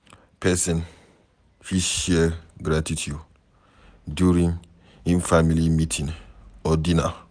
person fit Share gratitude during im family meeting or dinner